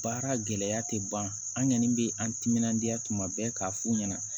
Baara gɛlɛya tɛ ban an kɔni bɛ an timinadiya tuma bɛɛ k'a f'u ɲɛna